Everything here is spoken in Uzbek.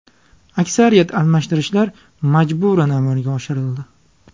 Aksariyat almashtirishlar majburan amalga oshirildi.